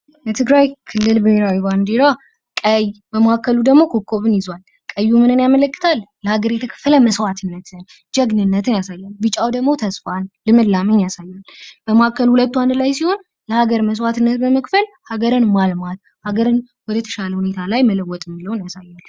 የትግራይ ክልል ብሄራዊ ባንዲራ ቀይ በመካከሉ ደግሞ ኮከብን ይዟል። ቀዩ ምንን ያመለክታል? ለሀገር የተከፈለ መስዋእትነትን፣ ጀግነንትን ያሳያል። ቢጫው ደግሞ ተስፋን ልምላሜን ያሳያል። በመሀከሉ ሁለቱ አንድ ላይ ሲሆን ለሀገር የተከፈለ መስዋእትነትን፣ ሀገርን ማልማት፤ ሀገርን ወደ ተሻለ ቦታ ላይ መለወጥ ያሳያል።